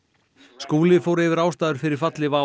Skúli fór yfir ástæður fyrir falli WOW